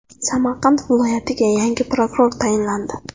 Samarqand viloyatiga yangi prokuror tayinlandi.